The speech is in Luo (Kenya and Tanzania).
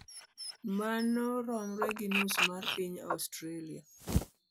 Mano romre gi nus mar piny Australia.